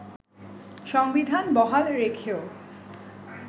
সংবিধান বহাল রেখেও